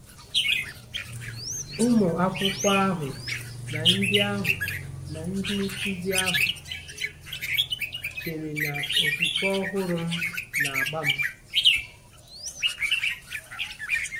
Ụmụ akwụkwọ ahụ na ndị ahụ na ndị nkụzi ahụ chere na okwukwe ọhụrụ m na-agba m.